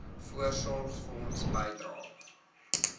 voorsorgfonds bydrae